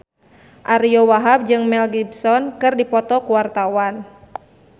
Ariyo Wahab jeung Mel Gibson keur dipoto ku wartawan